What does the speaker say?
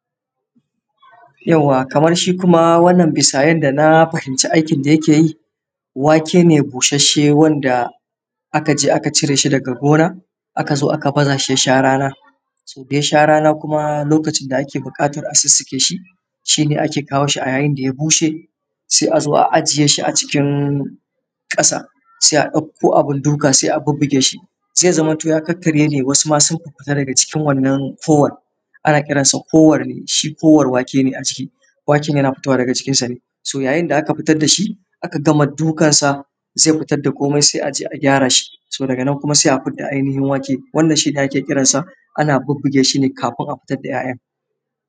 Yawwa kamar shi kuma wannan bisa yadda na fahimci aikin da yake yi, wake ne bushasshe wanda aka je aka cire shi daga gonaa ka zo aka ba za shi a rana .To da Ya sha rana kuma lokacin da ake buƙatar a sussuke shi. Shi ne ake kawo shi a yayin da ya bushe a zo a ajiye shi a cikin ƙasa sai a ɗauko abun duka sai a bubbuge shi, zai zamanto ya kakkarye ne wasu ma sun fiffita daga cikin wannan kowan. Ana kiransa kowar wake ne a ciki, waken yana fitowa ne daga cikisa ne .So yayin da aka fitar da shi aka gama dukansa zai fitar da komai sai a gyara shi, daga nan kuma sai fidda ainihin wake. Wannan shi ne ake kiransa, ana bubbuge shi ne kafin a fitad da ‘ya’yan